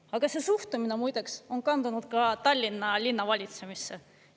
Aga see suhtumine muideks on kandunud ka Tallinna linna valitsemisse.